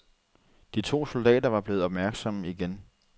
De to soldater var blevet opmærksomme igen.